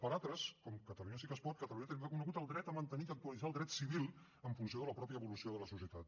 per altres com catalunya sí que es pot catalunya tenim reconegut el dret de mantenir i actualitzar el dret civil en funció de la pròpia evolució de la societat